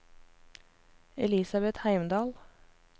Elisabet Heimdal